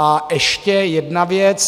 A ještě jedna věc.